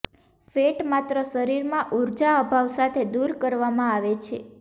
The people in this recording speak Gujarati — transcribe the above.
ફેટ માત્ર શરીરમાં ઊર્જા અભાવ સાથે દૂર કરવામાં આવે છે